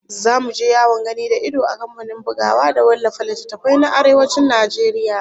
Zamu je yawon gani da ido a kamfanin bugawa da wallafa littattafai na Arewacin Najeriya